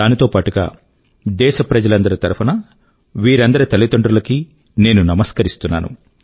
దానితో పాటుగా దేశ ప్రజలందరి తరఫునా వీరందరి తల్లిదండ్రుల కి నేను నమస్కరిస్తున్నాను